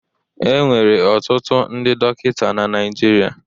E nwere ọtụtụ ndị dọkịta na Naịjirịa.